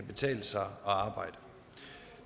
betale sig at arbejde